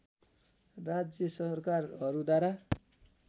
राज्य सरकारहरूद्वारा